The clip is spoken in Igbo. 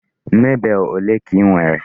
Marble ole ka I nwere?